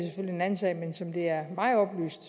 anden sag men som det er mig oplyst